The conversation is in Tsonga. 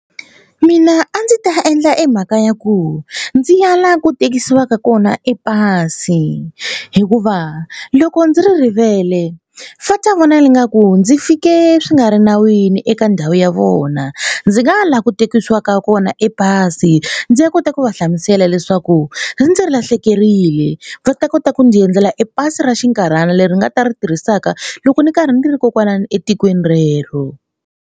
Mina a ndzi ta endla e mhaka ya ku ndzi ya la ku tekiwaka kona e pasi hikuva loko ndzi ri rivele va ta vona ingaku ndzi fike swi nga ri nawini eka ndhawu ya vona. Ndzi nga ya la ku tekiwaka kona e pasi ndzi ya kota ku va hlamusela leswaku ri ndzi lahlekerile va ta kota ku ndzi endlela e pasi ra xinkarhana leri nga ta ri tirhisaka loko ni karhi ndzi ri kokwalano etikweni rero.